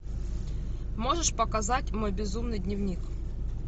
можешь показать мой безумный дневник